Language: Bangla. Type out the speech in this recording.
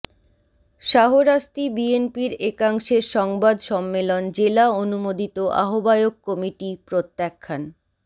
শাহরাস্তি বিএনপির একাংশের সংবাদ সম্মেলন জেলা অনুমোদিত আহ্বায়ক কমিটি প্রত্যাখ্যান